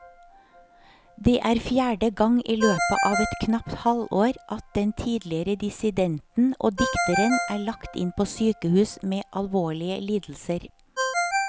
Det er fjerde gang i løpet av et knapt halvår at den tidligere dissidenten og dikteren er lagt inn på sykehus med alvorlige lidelser.